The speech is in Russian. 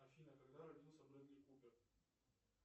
афина когда родился брэдли купер